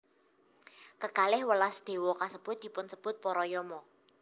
Kekalih welas déwa kasebut dipunsebut para Yama